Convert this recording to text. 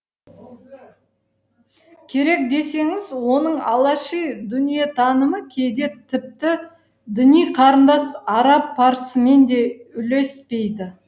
керек десеңіз оның алаши дүниетанымы кейде тіпті діни қарындас араб парсымен де үйлеспейді